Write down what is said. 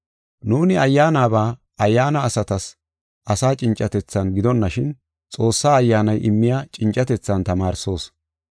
Nuuni ayyaanaba, ayyaana asatas asa cincatethan gidonashin, Xoossa Ayyaanay immiya cincatethan tamaarsoos.